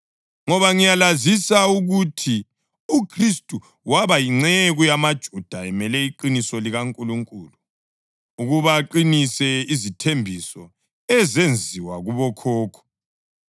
Ngoba ngiyalazisa ukuthi uKhristu waba yinceku yamaJuda emele iqiniso likaNkulunkulu, ukuba aqinise izithembiso ezenziwa kubokhokho,